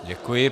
Děkuji.